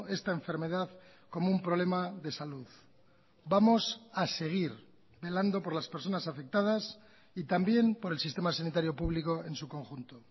esta enfermedad como un problema de salud vamos a seguir velando por las personas afectadas y también por el sistema sanitario público en su conjunto